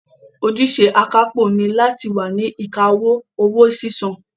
Ojúṣe akápò ni láti wà ní ìkáwọ́ owó sísan